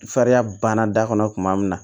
Fariya banna da kɔnɔ kuma min na